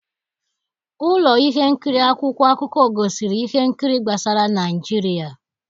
Ụlọ ihe nkiri akwụkwọ akụkọ gosiri ihe nkiri gbasara Naịjirịa.